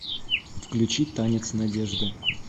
включи танец надежды